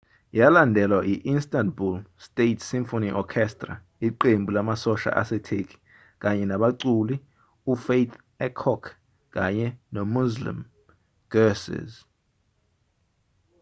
yalandelwa i-istanbul state symphony orchestra iqembu lamasosha asetheki kanye nabaculi ufatih erkoç kanye nomüslüm gürses